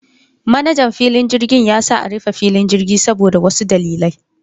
Manajan filin jirgin ya sa a rufe filin jirgin saboda wasu dalilai.